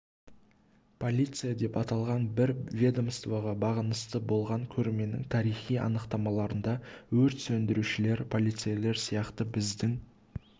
полиция деп аталған бір ведомствоға бағынысты болған көрменің тарихи анықтамаларында өрт сөндірушілер полицейлер сияқты біздің